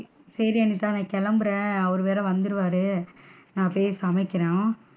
சேரி அனிதா, நான் கிளம்புறேன் அவர் வேற வந்திடுவாரு நான் போய் சமைக்கணும்.